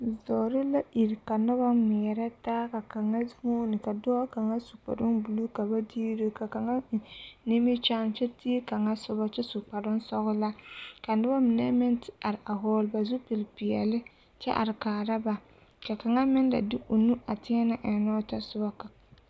Zɔɔre la iri ka noba ŋmeɛrɛ taa ka kaŋa huune ka dɔɔ kaŋ su kparoo buluu ka ba diire ka kaŋa eŋ nimikyaane kyɛ dii kaŋa soba kyɛ su kparoo sɔɡelaa ka noba mine meŋ te are a hɔɔle ba zupilpeɛle kyɛ are kaara ba ka kaŋa meŋ la de o nu a teɛnɛ ennɛ o tɔsoba.